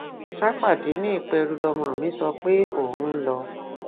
ṣàpàdé ni ìpẹrù lọmọ mi sọ pé òun ń lọ